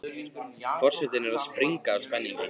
Forsetinn er að springa úr spenningi.